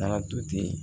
Taara to ten